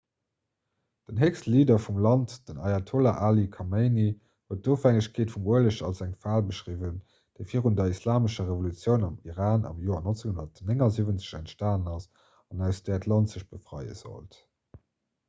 den héchste leader vum land den ayatollah ali khamenei huet d'ofhängegkeet vum ueleg als eng fal beschriwwen déi virun der islamescher revolutioun am iran am joer 1979 entstanen ass an aus där d'land sech befreie sollt